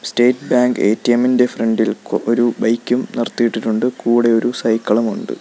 State Bank ATM ഇൻ്റെ front ഇൽ ഒരു ബൈക്കും നിർത്തിയിട്ടിട്ടുണ്ട് കൂടെ ഒരു സൈക്കിളും ഉണ്ട്.